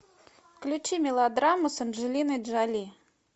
включи мелодраму с анджелиной джоли